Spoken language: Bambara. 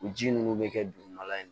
O ji ninnu bɛ kɛ dugumala in